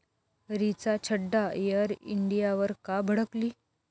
Richa Chadha air इंडियावर का भडकली?